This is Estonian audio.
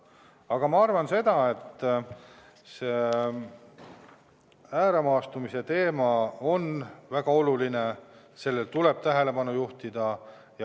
Aga ma arvan seda, et ääremaastumise teema on väga oluline ja sellele tuleb tähelepanu juhtida.